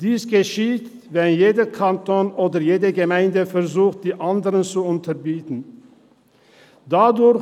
Dies geschieht, wenn jeder Kanton oder jede Gemeinde die andere zu unterbieten versucht.